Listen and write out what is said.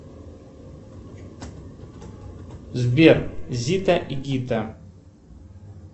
сбер зита и гита